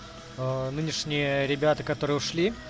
а нынешние ребята которые ушли